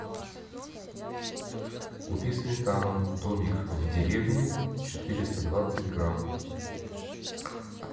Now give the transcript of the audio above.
купи сметану домик в деревне четыреста двадцать грамм